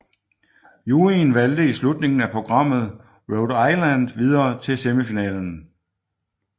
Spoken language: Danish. Juryen valgte i slutningen af programmet Rhode Island videre til semifinalen